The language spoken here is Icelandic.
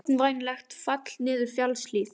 Ógnvænlegt fall niður fjallshlíð